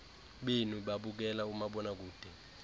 benu babukela umabonakude